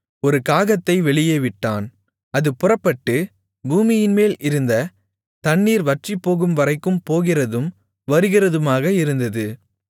ஒரு காகத்தை வெளியே விட்டான் அது புறப்பட்டு பூமியின்மேல் இருந்த தண்ணீர் வற்றிப்போகும்வரைக்கும் போகிறதும் வருகிறதுமாக இருந்தது